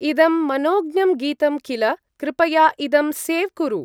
इदं मनोज्ञं गीतं किल, कृपया इदं सेव् कुरु।